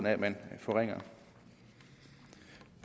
af at man forringer